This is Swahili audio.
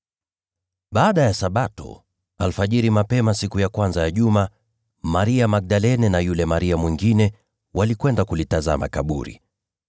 Baada ya Sabato, alfajiri mapema siku ya kwanza ya juma, Maria Magdalene na yule Maria mwingine walikwenda kulitazama kaburi.